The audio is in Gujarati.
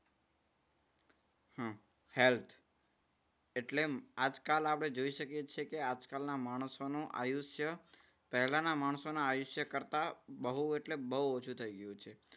હમ health એટલે આજકાલ આપણે જોઈ શકીએ છીએ કે આજકાલના માણસોનું આયુષ્ય પહેલાના માણસોના આયુષ્ય કરતા બહુ એટલે બહુ ઓછું થઈ ગયું છે.